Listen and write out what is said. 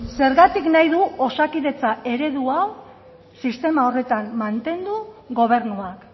zergatik nahi du osakidetza eredu hau sistema horretan mantendu gobernuak